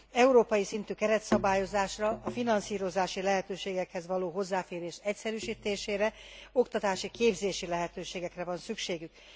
Európai szintű keretszabályozásra, a finanszírozási lehetőségekhez való hozzáférés egyszerűsítésére, oktatási, képzési lehetőségekre van szükségük.